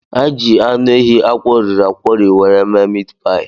Anyị ji anụ ehi akworiri akwori were mee mit paị.